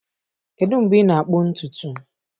Kedu mgbe ị na-akpụ ntutu